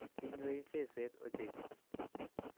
Inywei seset ochei